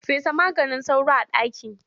Fesa maganin sauro a ɗaki.